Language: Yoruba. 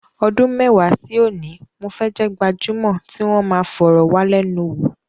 Ọdún mẹ́wàá sí òní, mo fẹ́ jẹ́ gbajúmọ̀ tí wọn máa fọ̀rọ̀wálẹ́nuwò.